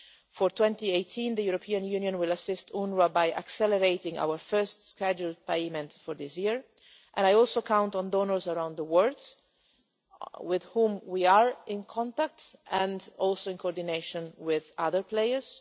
For 2018, the European Union will assist UNWRA by accelerating our first scheduled payment for this year, and I also count on donors around the world with whom we are in contact, including in coordination with other players.